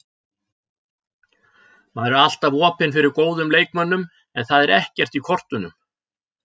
Maður er alltaf opinn fyrir góðum leikmönnum en það er ekkert í kortunum.